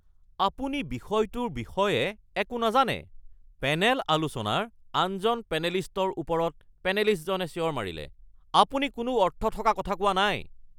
আপুনি বিষয়টোৰ বিষয়ে একো নাজানে, পেনেল আলোচনাৰ আনজন পেনেলিষ্টৰ ওপৰত পেনেলিষ্টজনে চিঞৰ মাৰিলে। "আপুনি কোনো অৰ্থ থকা কথা কোৱা নাই "